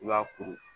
I b'a kuru